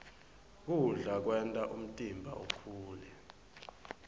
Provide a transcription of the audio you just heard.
kudla kwenta umtimba ukhule